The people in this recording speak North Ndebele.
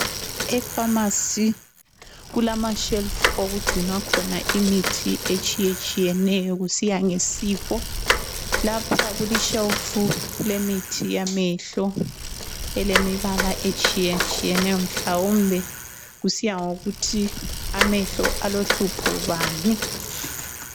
Efamasi kulamashelufu okugcinwa khona imithi etshiyatshiyeneyo kusiya ngesifo. Lapha kulishelufu kulemithi yamehlo, elemibala etshiyetshiyeneyo mhlawumbe kusiyangokuthi amehlo alohlupho bani.